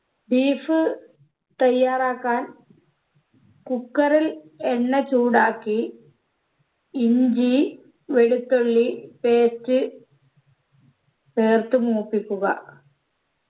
beef തയ്യാറാക്കാൻ cooker ൽ എണ്ണചൂടാക്കി ഇഞ്ചി വെളുത്തുള്ളി paste ചേർത്ത് മൂപ്പിക്കുക